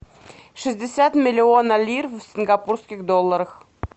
шестьдесят миллиона лир в сингапурских долларах